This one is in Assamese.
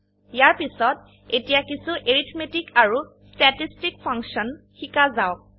ইয়াৰপিছত এতিয়া কিছো এৰিথমেটিক আৰু ষ্টেটিষ্টিক ফাংশন শিকা যাওক